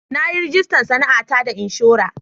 Na yi rajista sana'ata da inshora.